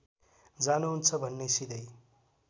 जान्नुहुन्छ भने सिधै